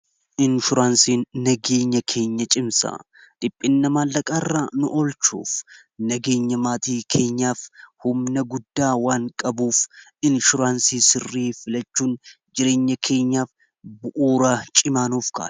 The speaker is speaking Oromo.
Inshuraansii nageenya keenya cimsa xiphinna maallaqaa irraa nu'olchuuf nageenya maatii keenyaaf humna guddaa waan qabuuf inshuraansii sirrii filachuun jireenya keenyaaf bu'ooraa cimaa nuuf kaa'a.